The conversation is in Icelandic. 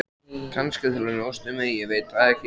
Kannski til að njósna um þig, ég veit það ekki.